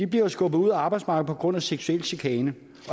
bliver skubbet ud af arbejdsmarkedet på grund af seksuel chikane